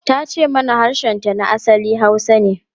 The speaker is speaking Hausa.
Ta ce mana harshenta na asali Hausa ne.